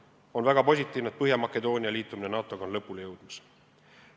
On väga positiivne, et Põhja-Makedoonia liitumine NATO-ga on lõpule jõudmas.